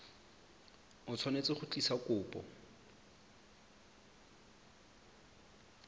o tshwanetse go tlisa kopo